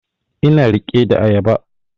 Ina riƙe da ayaba